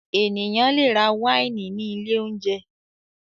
Ènìyàn le rà wáìnì ní ilé-oúnjẹ.